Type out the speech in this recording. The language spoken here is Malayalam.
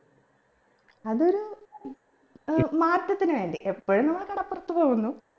അതൊരു ഏർ മാറ്റത്തിന് വേണ്ടി ഇപ്പോഴും നമ്മൾ കടപ്പുറത്ത് പോകുന്നു